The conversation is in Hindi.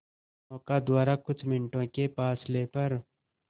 नौका द्वारा कुछ मिनटों के फासले पर